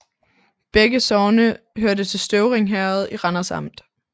Begge sogne hørte til Støvring Herred i Randers Amt